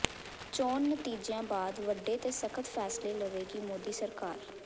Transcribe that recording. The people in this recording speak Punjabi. ਚੋਣ ਨਤੀਜਿਆਂ ਬਾਅਦ ਵੱਡੇ ਤੇ ਸਖ਼ਤ ਫੈਸਲੇ ਲਵੇਗੀ ਮੋਦੀ ਸਰਕਾਰ